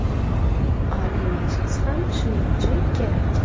Oliy Majlis ham shuning uchun kerak.